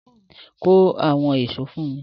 Mú àwọn ṣó fún mi!